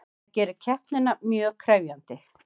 Það gerir keppnina mjög krefjandi